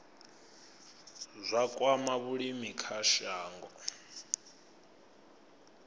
zwa kwama vhulimi kha shango